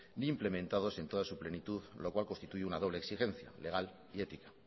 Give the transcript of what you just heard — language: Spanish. ni implementados en todas su plenitud lo cual constituye una doble exigencia legal y ética